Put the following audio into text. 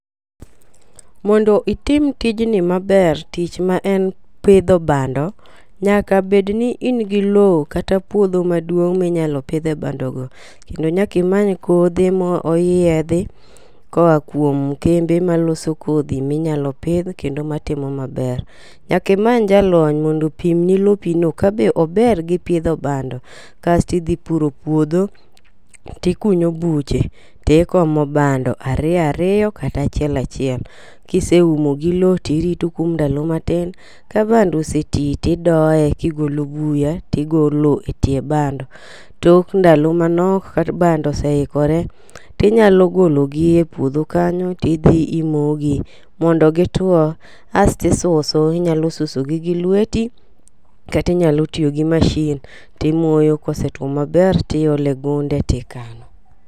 Mondo itim tijni maber tich ma en pidho bando, nyaka bed ni in gi lowo kata puodho maduong' minyalo pidhe bando go. Kendo nyaki many kothe moyiedhi koa kuom kembe maloso kodhi minyalo pidh kendo matimo maber. Nyaki many jalony mondo opim ni lopi no kabe ober gi pidho bando kasti dhi puro puodho tikunyo buche tikomo bando ariyo ariyo kata achiel achiel .Kiseumo gi lowo tirito kuom ndalo matin ka bando oseti tidoye gigolo buya tigolo etie bando. Tok ndalo manok ka bando oseikore tinyalo golo gi e puodho kanyo tidhi imogi mondo gituo asti suso. Inyalo suso gi gi lweti kati nyalo tiyo gi masin timoyo kosetwo maber tiole gunde tikano.